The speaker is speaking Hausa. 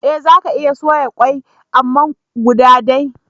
Eh zaka iya soya kwai amma guda day